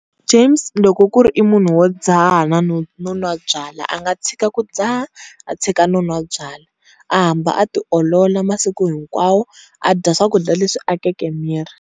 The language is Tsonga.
James loko ku ri i munhu wo dzaha no nwa byalwa a nga tshika ku dzaha a tshika no nwa byalwa a hamba a tiolola masiku hinkwawo a dya swakudya leswi akeke miri.